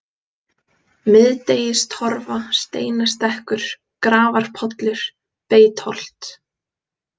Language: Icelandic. Miðdegistorfa, Steinastekkur, Grafarpollur, Beitholt